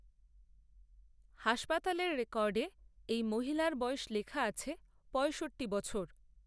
হাসপাতালের রেকর্ডে এই মহিলার বয়স লেখা আছে পঁয়ষট্টি বছর